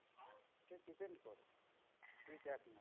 তুই দেখ না।